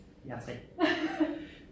Jeg har 3